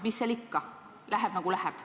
Mis seal ikka, läheb, nagu läheb.